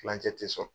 Kilancɛ tɛ sɔn